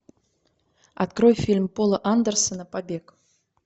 открой фильм пола андерсена побег